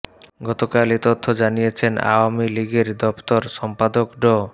গতকাল এ তথ্য জানিয়েছেন আওয়ামী লীগের দফতর সম্পাদক ড